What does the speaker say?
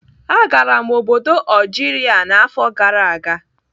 Agara m obodo Algeria n'afọ gara aga.